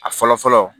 A fɔlɔ fɔlɔ